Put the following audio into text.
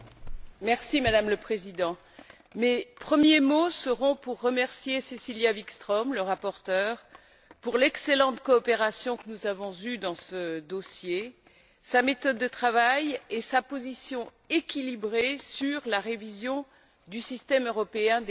Madame la Présidente, mes premiers mots seront pour remercier Cecilia Wikström, la rapporteure, pour l'excellente coopération que nous avons eue dans ce dossier, sa méthode de travail et sa position équilibrée concernant la révision du système européen des marques.